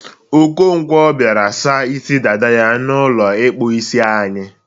Okonkwo biara sa isi dada ya n'ụlọ ịkpụ isi anyị.